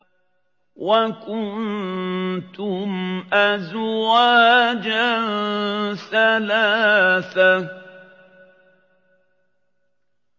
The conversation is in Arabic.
وَكُنتُمْ أَزْوَاجًا ثَلَاثَةً